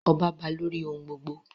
Ọba ba lórí ohun gbogbo.